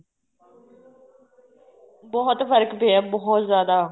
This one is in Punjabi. ਬਹੁਤ ਫ਼ਰਕ ਪਇਆ ਬਹੁਤ ਜਿਆਦਾ